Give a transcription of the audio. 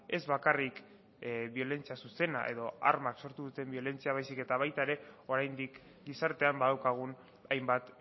ez bakarrik biolentzia zuzena edo armak sortu duten biolentzia baizik eta baita ere oraindik gizartean badaukagun hainbat